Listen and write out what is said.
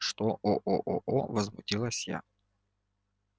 что возмутилась я